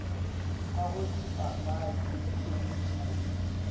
ka go dipapadi le boithabišo